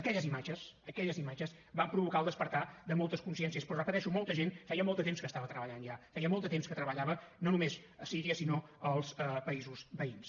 aquelles imatges aquelles imatges van provocar el despertar de moltes consciències però ho repeteixo molta gent feia molt de temps que hi estava treballant ja feia molt de temps que treballava no només a síria sinó als països veïns